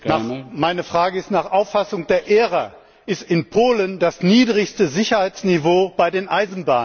Meine Frage ist Nach Auffassung der ERA ist in Polen das niedrigste Sicherheitsniveau bei den Eisenbahnen.